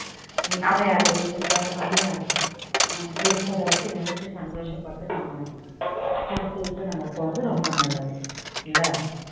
அமையாது இருக்கிறத வச்சி சந்தோஷபட்டு நம்ம பொறுத்துகிட்டு நம்ம போறது ரொம்ப நல்லது இல்ல